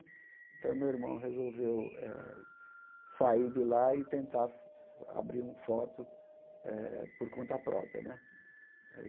Então, meu irmão resolveu eh sair de lá e tentar abrir um foto eh por conta própria né.